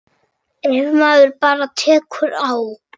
Ef maður bara tekur á.